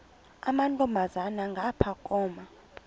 amantombazana ngapha koma